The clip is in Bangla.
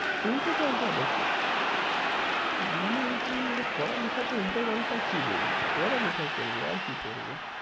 উল্টোপাল্টা বকে? মানে কি ও পড়া লেখাতে উল্টোপাল্টা কী বকবে! পড়ালেখা করবে, আর কি করবে?